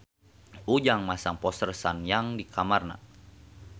Ujang masang poster Sun Yang di kamarna